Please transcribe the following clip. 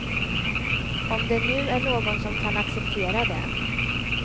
Om det nu är någon som kan acceptera det.